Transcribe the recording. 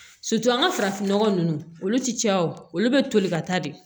an ka farafinnɔgɔ ninnu olu ti caya o olu be toli ka taa de